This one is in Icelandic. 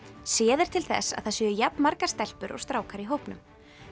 séð er til þess að það séu jafn margar stelpur og strákar í hópnum